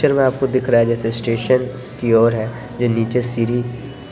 इस पिक्चर में आपको दिख रहा है जैसे स्टेशन की ओर है जो नीचे सीढ़ी